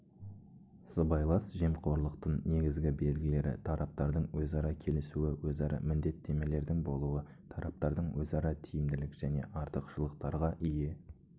сыбайлас жемқорлықтың негізгі белгілері тараптардың өзара келісуі өзара міндеттемелердің болуы тараптардың өзара тиімділік және артықшылықтарға ие